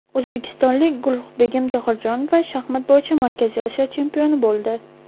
O‘zbekistonlik Gulruhbegim Tohirjonova shaxmat bo‘yicha Markaziy Osiyo chempioni bo‘ldi.